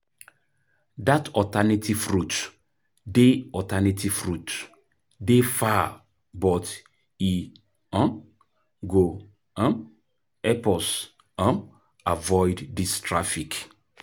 Dat alternative route dey alternative route dey far but e um go um help us um avoid dis traffic.